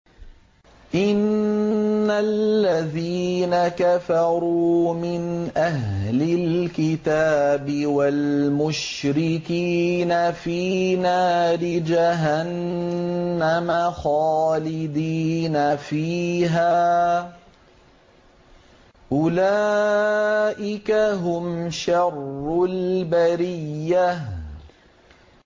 إِنَّ الَّذِينَ كَفَرُوا مِنْ أَهْلِ الْكِتَابِ وَالْمُشْرِكِينَ فِي نَارِ جَهَنَّمَ خَالِدِينَ فِيهَا ۚ أُولَٰئِكَ هُمْ شَرُّ الْبَرِيَّةِ